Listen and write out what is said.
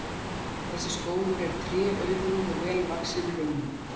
Þessi skógur er tréauðugur og vel vaxinn runnum.